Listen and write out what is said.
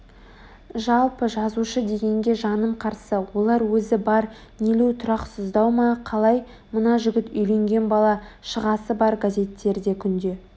жалпы жазушы дегенге жаным қарсы олар өзі бар нелеу тұрақсыздау ма қалай мына жігіт үйленген бала-шағасы бар газеттерде күнде